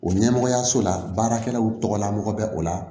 O ɲɛmɔgɔyaso la baarakɛlaw tɔgɔlamɔgɔ bɛ o la